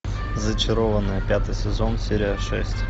зачарованные пятый сезон серия шесть